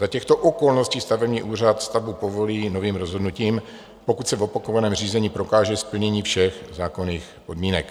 Za těchto okolností stavební úřad stavbu povolí novým rozhodnutím, pokud se v opakovaném řízení prokáže splnění všech zákonných podmínek.